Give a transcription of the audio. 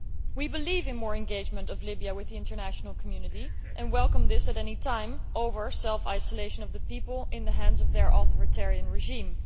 We believe in more engagement of Libya with the international community and welcome this at any time over self isolation of the people in the hands of their authoritarian regime.